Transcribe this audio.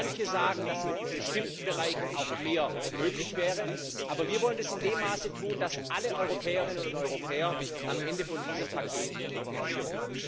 Manche sagen, dass in bestimmten Bereichen auch mehr möglich wäre, aber wir wollen es in dem Maße tun, dass alle Europäerinnen und Europäer am Ende von diesem Paket profitieren.